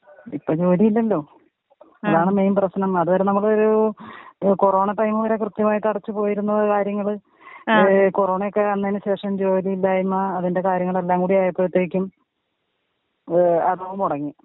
ഇപ്പ ജോലിയില്ലല്ലോ. അതാണ് മെയിന്‍ പ്രശ്നം. അത് വരെ നമുക്ക് ഒരു കൊറോണ ടൈം വരെ ക്രിത്യമായിട്ട് അടച്ച് പോയീന്നു കാര്യങ്ങള് ഏ കൊറോണയൊക്കെ വന്നെന ശെഷം ജൊലിയില്ലായ്മ അതിന്റെ കാര്യങെളെല്ലാം കൂടിയായപ്പോയത്തേക്കും ഏ അടവ് മൊടങ്ങി.